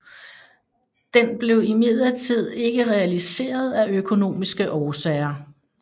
Den blev imidlertid ikke realiseret af økonomiske årsager